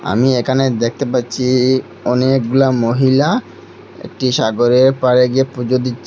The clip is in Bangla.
আমি একানে দেখতে পাচ্চি অনেকগুলা মহিলা একটি সাগরে পাড়ে গিয়ে পুজো দিচ্ছে।